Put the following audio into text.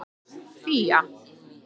Fía